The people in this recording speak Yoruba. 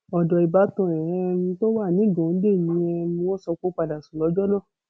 ọdọ ìbátan ẹ um tó wà nìgòńdè ni um wọn sọ pé ó padà sùn lọjọ náà